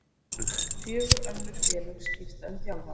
Fjögur önnur félög skipta um þjálfara